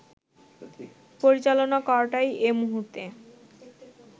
পরিচালনা করাটাই এ মুহূর্তে